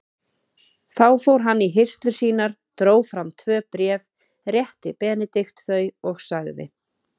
Þá fór hann í hirslur sínar, dró fram tvö bréf, rétti Benedikt þau og sagði